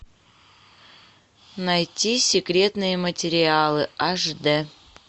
найти секретные материалы аш д